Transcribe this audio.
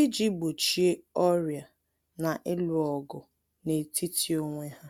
iji gbochie ọrịa na ịlụ ọgụ n'etiti onwe ha.